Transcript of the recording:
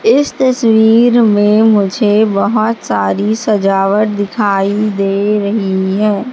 इस तस्वीर में मुझे बहोत सारी सजावट दिखाई दे रही है।